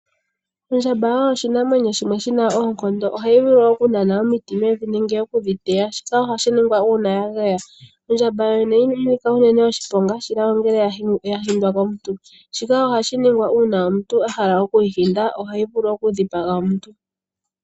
Ondjaba oyo oshinamwenyo shimwe shina oonkonto, ohayi vulu oku nana omiti mevi nenge okudhiteya, shika ohashiningwa una yageya ondjaba yooyene inayinika unene oshiponga shila ongele yaghindwa komuntu, shika ohashiningwa ngele omuntu ahala okuyi ghinda, ohaivullu okudhipaga omuntu.